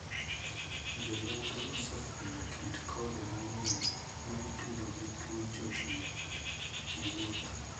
Jo nonro osefwenyo kit kothe mang'eny ma itudo gi tuo chochni (chandruok) gi wuoth.